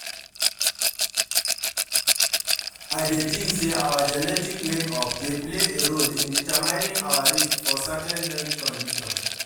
I dey think say our genetic makeup dey play a role in determining our risk for certain health condition.